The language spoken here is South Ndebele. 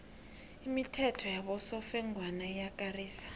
imithetho yabosofengwana iyakarisa